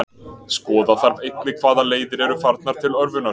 Skoða þarf einnig hvaða leiðir eru farnar til örvunar.